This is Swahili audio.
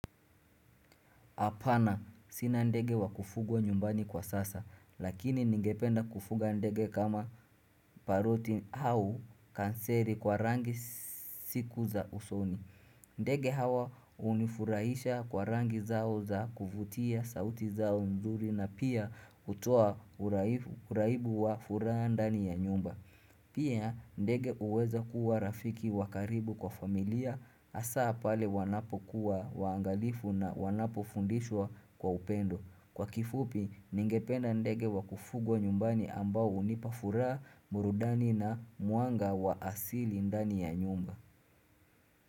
Apana, sina ndege wa kufugwa nyumbani kwa sasa, lakini ningependa kufuga ndege kama paroti au kanseri kwa rangi siku za usoni. Ndege hawa hunifurahisha kwa rangi zao za kuvutia sauti zao mzuri na pia hutoa uraibu wa furaha ndani ya nyumba. Pia ndege huweza kuwa rafiki wa karibu kwa familia hasa pale wanapokuwa waangalifu na wanapofundishwa kwa upendo. Kwa kifupi ningependa ndege wa kufugwa nyumbani ambao hunipa furaha burudani na mwanga wa asili ndani ya nyumba.